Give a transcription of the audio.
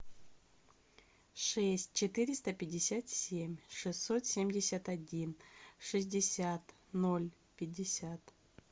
шесть четыреста пятьдесят семь шестьсот семьдесят один шестьдесят ноль пятьдесят